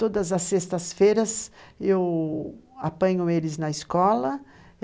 Todas às sextas-feiras eu apanho eles na escola.